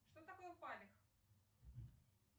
что такое палех